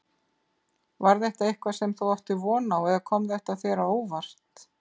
Var þetta eitthvað sem þú áttir von á eða kom þetta þér á óvart?